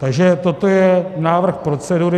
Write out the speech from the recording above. Takže toto je návrh procedury.